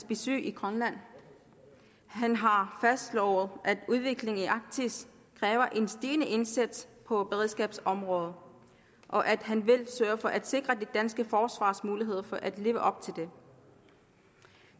besøg i grønland han har fastslået at udviklingen i arktis kræver en stigende indsats på beredskabsområdet og at han vil sørge for at sikre det danske forsvars muligheder for at kunne leve op til det